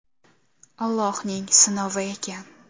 Allohning sinovi ekan.